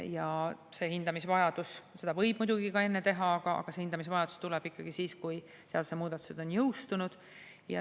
Ja see hindamisvajadus tuleb ikkagi siis, kui seadusemuudatused on jõustunud, kuigi seda võib muidugi ka enne teha.